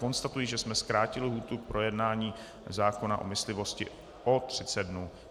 Konstatuji, že jsme zkrátili lhůtu k projednání zákona o myslivosti o 30 dnů.